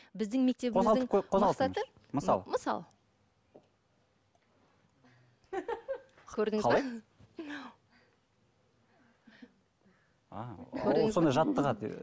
біздің мысалы мысалы көрдіңіз бе ол сонда жаттығады